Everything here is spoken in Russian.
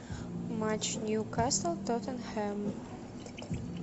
матч ньюкасл тоттенхэм